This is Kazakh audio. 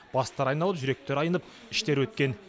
бастары айналып жүректері айнып іштері өткен